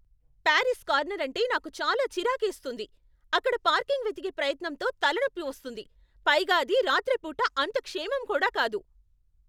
Paris corner అంటే నాకు చాలా చిరాకేస్తుంది. అక్కడ పార్కింగ్ వెతికే ప్రయత్నంతో తలనొప్పి వస్తుంది, పైగా అది రాత్రి పూట అంత క్షేమం కూడా కాదు.